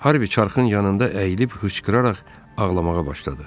Harvi çarxın yanında əyilib hıçqıraraq ağlamağa başladı.